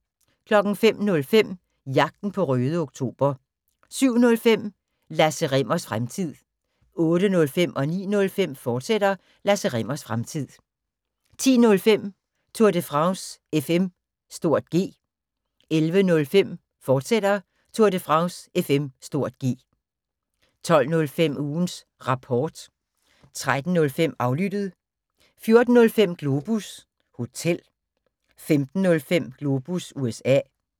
05:05: Jagten på Røde Oktober 07:05: Lasse Rimmers Fremtid 08:05: Lasse Rimmers Fremtid, fortsat 09:05: Lasse Rimmers Fremtid, fortsat 10:05: Tour de France FM (G) 11:05: Tour de France FM (G), fortsat 12:05: Ugens Rapport 13:05: Aflyttet 14:05: Globus Hotel 15:05: Globus USA